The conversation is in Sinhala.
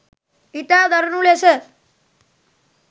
ඉතා දරුණු ලෙස